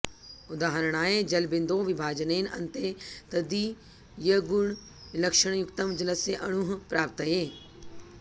उदाहरणाय जलबिन्दोः विभाजनेन अन्ते तदीयगुणलक्षणयुक्तं जलस्य अणुः प्राप्त्यते